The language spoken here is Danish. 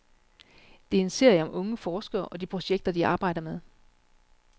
Det er en serie om unge forskere og de projekter de arbejder med.